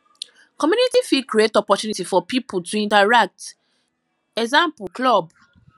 community fit create opportunity for pipo to fit interact eg club